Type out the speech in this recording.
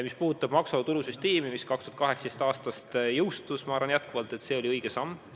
Mis puudutab maksuvaba tulu süsteemi, mis 2018. aastal jõustus, siis ma arvan jätkuvalt, et see oli õige samm.